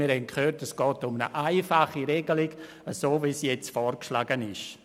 Wir haben gehört, es gehe um eine einfache Regelung, so wie dies vorgeschlagen ist.